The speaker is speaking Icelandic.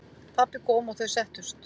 Pabbi kom og þau settust.